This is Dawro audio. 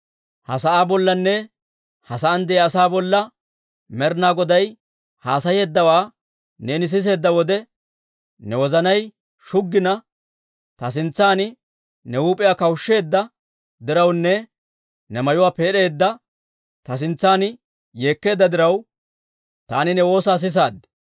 «Ha sa'aa bollanne ha sa'aan de'iyaa asaa bolla Med'inaa Goday haasayeeddawaa neeni siseedda wode, ne wozanay shuggina, ta sintsan ne huup'iyaa kawushsheedda dirawunne ne mayuwaa peed'aade, ta sintsan yeekkeedda diraw, taani ne woosaa sisaad.